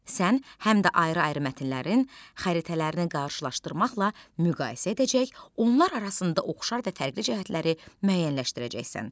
Sən həm də ayrı-ayrı mətnlərin xəritələrini qarşılaşdırmaqla müqayisə edəcək, onlar arasında oxşar və fərqli cəhətləri müəyyənləşdirəcəksən.